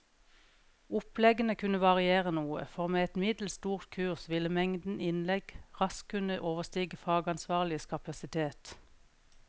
Oppleggene kunne variere noe, for med et middels stort kurs ville mengden innlegg raskt kunne overstige fagansvarliges kapasitet.